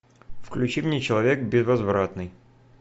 включи мне человек безвозвратный